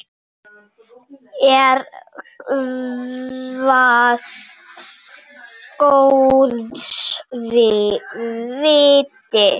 Er það góðs viti.